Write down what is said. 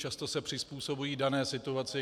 Často se přizpůsobují dané situaci.